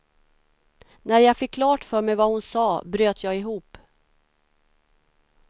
När jag fick klart för mig vad hon sa, bröt jag ihop.